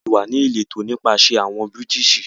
A ti wà ni ìlétọ́ nípasẹ̀ awọn Bírìtísì